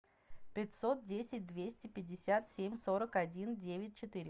пятьсот десять двести пятьдесят семь сорок один девять четыре